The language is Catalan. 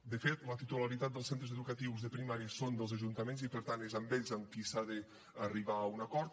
de fet la titularitat dels centres educatius de primària és dels ajuntaments i per tant és amb ells amb qui s’ha d’arribar a un acord